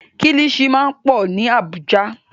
Kílìṣí máa pọ̀ ní Àbújá.